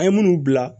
An ye minnu bila